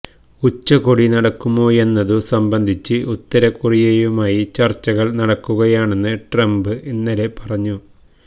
ഉച്ചകോടി നടക്കുമോയെന്നതു സംബന്ധിച്ച് ഉത്തരകൊറിയയുമായി ചർച്ചകൾ നടക്കുകയാണെന്ന് ട്രംപ് ഇന്നലെ പറഞ്ഞു